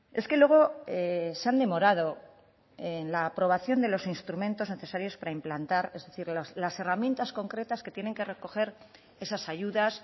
es que luego se han demorado en la aprobación de los instrumentos necesarios para implantar es decir las herramientas concretas que tienen que recoger esas ayudas